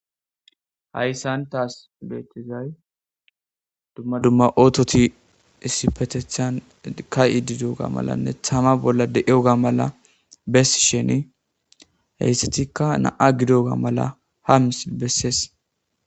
Hayissani tassi betizayi duma duma ottoti issipetethan kaidi deyogane tama bolla deyogga besishin hessatikka nami'a gidogga bessesi.